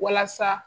Walasa